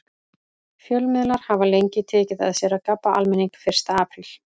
Fjölmiðlar hafa lengi tekið að sér að gabba almenning fyrsta apríl.